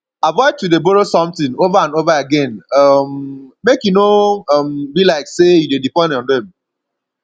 avoid to de borrow something over and over again um make e no um be like say you de depend on dem